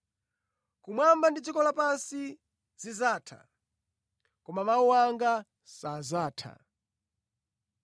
Kumwamba ndi dziko lapansi zidzatha, koma mawu anga sadzatha.”